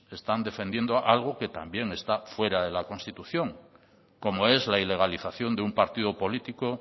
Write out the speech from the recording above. están defendiendo algo que también está fuera de la constitución como es la ilegalización de un partido político